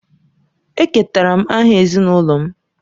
Eketara m aha ezinụlọ m.